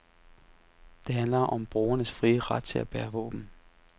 Det handler om borgernes frie ret til at bære våben.